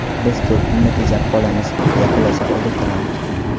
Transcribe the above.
Biz ko‘p pulni tejab qolamiz”, deya xulosa qildi Tramp.